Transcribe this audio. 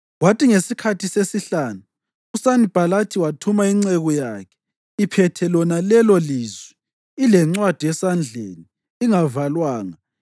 Kwathi ngesikhathi sesihlanu, uSanibhalathi wathuma inceku yakhe iphethe lona lelolizwi, ilencwadi esandleni ingavalwanga